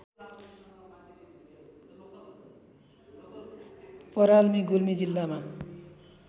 पराल्मी गुल्मी जिल्लामा